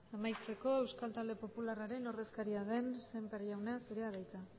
amaitzeko euskal talde popularraren ordezkaria den sémper jauna zurea da hitza